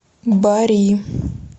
бари